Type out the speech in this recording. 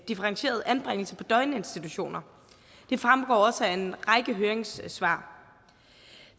differentieret anbringelse på døgninstitutioner det fremgår også af en række høringssvar